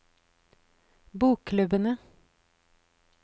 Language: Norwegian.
bokklubbene